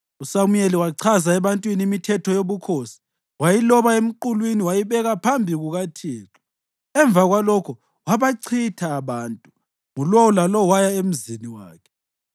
USamuyeli wachaza ebantwini imithetho yobukhosi. Wayiloba emqulwini wayibeka phambi kukaThixo. Emva kwalokho wabachitha abantu, ngulowo lalowo waya emzini wakhe.